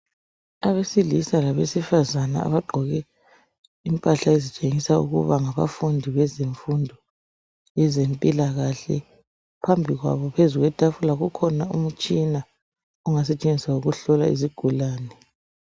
Abesilisa labesifazana abagqoke impahla ezitshengisa ukuba ngabafundi bezemfundo, yezempilakahle. Phambi kwabo, phezu kwetafula, kukhona umtshina, ongasetshenziswa ukuhlola izigulane.